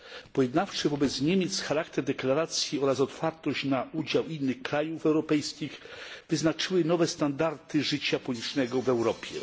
Pojednawczy wobec Niemiec charakter deklaracji oraz otwartość na udział innych krajów europejskich wyznaczyły nowe standardy życia politycznego w Europie.